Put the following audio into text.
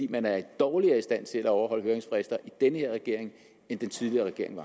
man er dårligere i stand til at overholde høringsfrister i den her regering end den tidligere regering